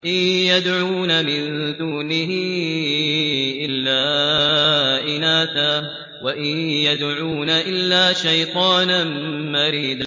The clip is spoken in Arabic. إِن يَدْعُونَ مِن دُونِهِ إِلَّا إِنَاثًا وَإِن يَدْعُونَ إِلَّا شَيْطَانًا مَّرِيدًا